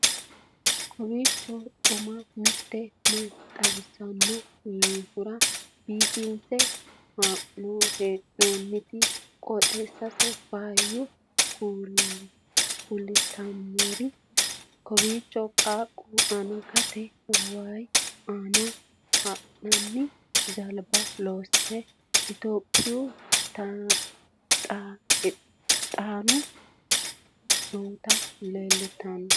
kowiicho xuma mtini maa xawissanno yaannohura biifinse haa'noonniti qooxeessano faayya kultannori kowiicho qaaqu angatenni wayi aana ha'nanni jalba loosire ethiopiyu tanira nooti leeltannoe